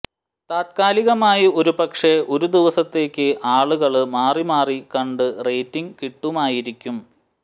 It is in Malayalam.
താത്കാലികമായി ഒരുപക്ഷേ ഒരു ദിവസത്തേക്ക് ആളുകള് മാറിമാറി കണ്ട് റേറ്റിങ് കിട്ടുമായിരിക്കും